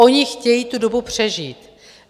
Oni chtějí tu dobu přežít.